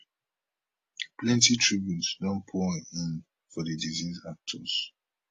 plenty tributes don pour in for di deceased actors